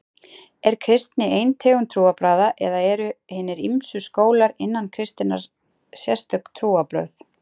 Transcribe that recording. Er kristni ein tegund trúarbragða eða eru eru hinir ýmsu skólar innan kristninnar sérstök trúarbrögð?